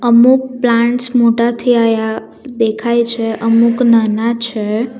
અમુક પ્લાન્ટ્સ મોટા થયા દેખાય છે અમુક નાના છે.